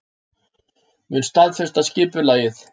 Mun staðfesta skipulagið